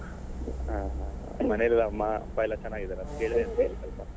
ಹಾ ಹಾ ಹಾ ಮನೇಲಿ ಎಲ್ಲ ಅಪ್ಪ ಅಮ್ಮ ಎಲ್ಲ ಚೆನ್ನಾಗಿದ್ದಾರಾ? ಕೇಳಿದೆ ಅಂತ ಹೇಳಿ ಆಯ್ತಾ?